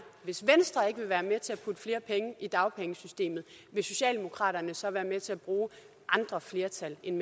hvis venstre ikke vil være med til at putte flere penge i dagpengesystemet vil socialdemokraterne så være med til at bruge andre flertal end